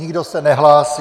Nikdo se nehlásí.